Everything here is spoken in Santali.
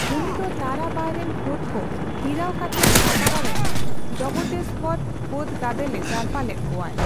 ᱩᱱᱤ ᱫᱚ ᱛᱟᱨᱟᱵᱟᱭᱨᱮᱱ ᱯᱷᱟᱹᱫ ᱠᱚ ᱦᱤᱨᱟᱹᱣ ᱠᱟᱛᱮᱫ ᱥᱟᱛᱟᱨᱟ ᱨᱮᱱ ᱡᱚᱵᱚᱛᱮᱥᱵᱚᱨ ᱯᱷᱟᱹᱫ ᱜᱟᱫᱮᱞᱮ ᱡᱟᱨᱯᱟ ᱞᱮᱫ ᱠᱚᱣᱟᱭ ᱾